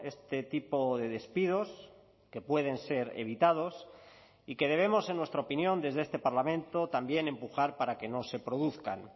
este tipo de despidos que pueden ser evitados y que debemos en nuestra opinión desde este parlamento también empujar para que no se produzcan